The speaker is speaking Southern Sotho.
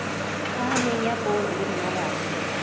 phahameng ya poone le mmaraka